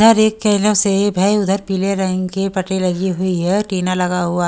से है उधर पीले रंग के पटेल लगी हुई है टीना लगा हुआ--